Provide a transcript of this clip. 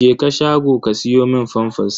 Jeka shago ka siyo min famfas!